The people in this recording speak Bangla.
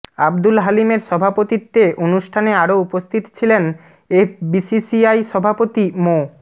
আবদুল হালিমের সভাপতিত্বে অনুষ্ঠানে আরও উপস্থিত ছিলেন এফবিসিসিআই সভাপতি মো